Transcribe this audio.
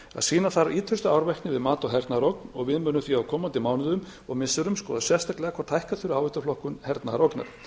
sýna þarf ýtrustu árvekni við mat á hernaðarógn og við munum því á komandi mánuðum og missirum skoða sérstaklega hvort hækka þurfi áhættuflokkun hernaðarógnar viðbúnaður